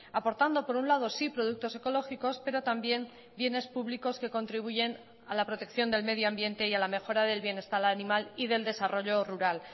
aportando por un lado sí productos ecológicos pero también bienes públicos que contribuyen a la protección del medio ambiente y a la mejora del bienestar animal y del desarrollo rural